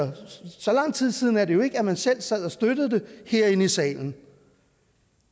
lang tid siden er det jo ikke at man selv sad og støttede det herinde i salen